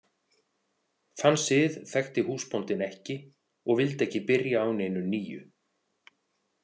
Þann sið þekkti húsbóndinn ekki og vildi ekki byrja á neinu nýju.